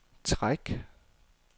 træk